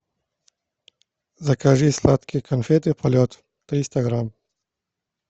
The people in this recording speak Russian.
закажи сладкие конфеты полет триста грамм